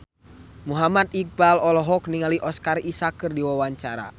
Muhammad Iqbal olohok ningali Oscar Isaac keur diwawancara